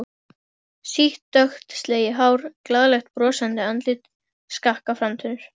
Sítt dökkt slegið hár, glaðlegt brosandi andlit, skakkar framtennur.